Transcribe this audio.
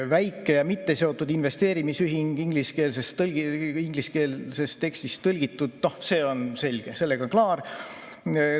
Väike ja mitteseotud investeerimisühing, ingliskeelsest tekstist tõlgitud – see on selge, sellega on klaar.